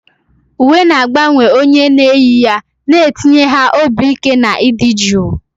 Uwe na-agbanwe onye na-eyi ya, na-etinye ha obi ike na ịdị jụụ.